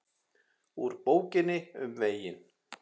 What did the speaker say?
Úr Bókinni um veginn